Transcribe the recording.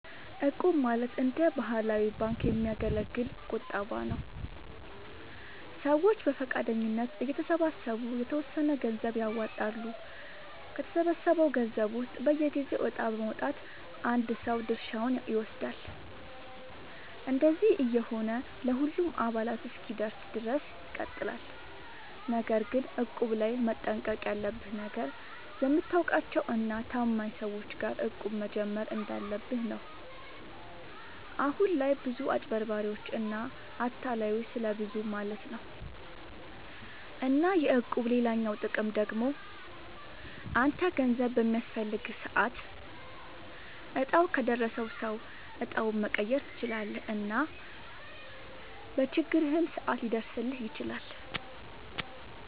እቁብ ማለት እንደ ባህላዊ ባንክ የሚያገለግል ቁጠባ ነዉ። ሰዎች በፈቃደኝነት እየተሰባሰቡ የተወሰነ ገንዘብ ያዋጣሉ፣ ከተሰበሰበው ገንዘብ ውስጥ በየጊዜው እጣ በማዉጣት አንድ ሰው ድርሻውን ይወስዳል። እንደዚህ እየሆነ ለሁሉም አባላት እስኪደርስ ድረስ ይቀጥላል። ነገር ግን እቁብ ላይ መጠንቀቅ ያለብህ ነገር፣ የምታውቃቸው እና ታማኝ ሰዎች ጋር እቁብ መጀመር እንዳለብህ ነው። አሁን ላይ ብዙ አጭበርባሪዎች እና አታላዮች ስለብዙ ማለት ነው። እና የእቁብ ሌላኛው ጥቅም ደግሞ አንተ ገንዘብ በሚያስፈልግህ ሰዓት እጣው ከደረሰው ሰው እጣውን መቀየር ትችላለህ እና በችግርህም ሰዓት ሊደርስልህ ይችላል።